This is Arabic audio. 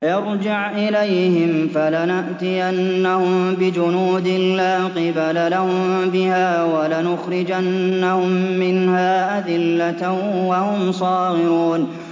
ارْجِعْ إِلَيْهِمْ فَلَنَأْتِيَنَّهُم بِجُنُودٍ لَّا قِبَلَ لَهُم بِهَا وَلَنُخْرِجَنَّهُم مِّنْهَا أَذِلَّةً وَهُمْ صَاغِرُونَ